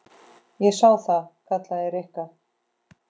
Ég sá það. kallaði Rikka.